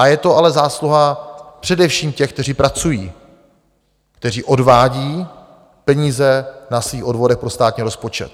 A je to ale zásluha především těch, kteří pracují, kteří odvádí peníze na svých odvodech pro státní rozpočet.